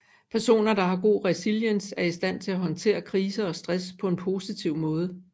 Personer der har god resiliens er i stand til at håndtere kriser og stress på en positiv måde